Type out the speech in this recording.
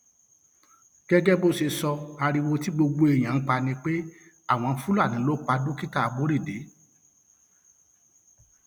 gẹgẹ bó ṣe sọ ariwo tí gbogbo èèyàn ń pa ni pé àwọn fúlàní ló pa dókítà aborode